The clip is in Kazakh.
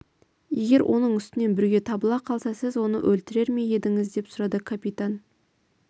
егер оның үстінен бүрге табыла қалса сіз оны өлтірер ме едіңіз деп сұрады капитан